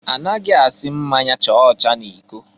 Anaghị asị mmanya chaa ọcha n'iko.